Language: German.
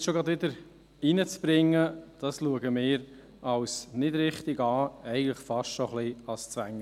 Dies schon wieder einzubringen, erachten wir als nicht richtig, eigentlich ein wenig als Zwängerei.